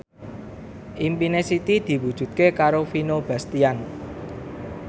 impine Siti diwujudke karo Vino Bastian